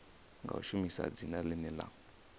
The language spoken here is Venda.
nga shumisa dzina ḽine ḽa